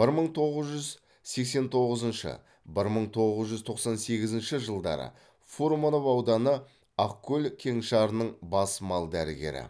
бір мың тоғыз жүз сексен тоғызыншы бір мың тоғыз жүз тоқсан сегізінші жылдары фурманов ауданы ақкөл кеңшарының бас мал дәрігері